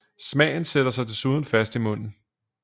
Smagen sætter sig desuden fast i munden